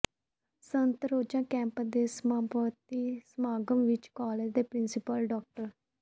ਸੱਤ ਰੋਜ਼ਾ ਕੈਂਪ ਦੇ ਸਮਾਪਤੀ ਸਮਾਗਮ ਵਿੱਚ ਕਾਲਜ ਦੇ ਪਿ੍ਰੰਸੀਪਲ ਡਾ